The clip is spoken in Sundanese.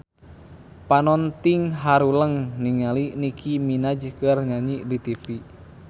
Panonton ting haruleng ningali Nicky Minaj keur nyanyi di tipi